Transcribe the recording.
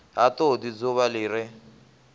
ha todi dzuvha li re